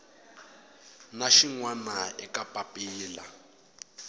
na xin wana eka papila